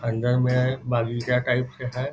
अंदर में बगीचा टाइप से है।